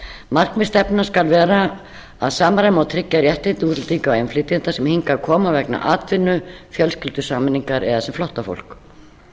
markmið stefnunnar skal vera að samræma og tryggja réttindi útlendinga og innflytjenda sem hingað koma vegna atvinnu fjölskyldusameiningar eða sem flóttafólk